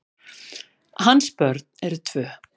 Hans börn eru tvö.